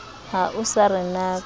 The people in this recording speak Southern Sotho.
ha o sa re natsa